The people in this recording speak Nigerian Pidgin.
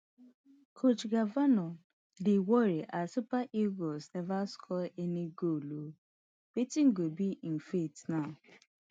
coach eguavoen dy worry as di super eagles neva score any goal ooo wetin go be im fate now